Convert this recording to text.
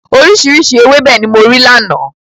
Oríṣiríṣi ewébẹ̀ ni mo rí lánàá.